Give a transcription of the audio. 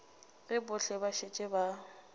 ge bohle ba šetše ba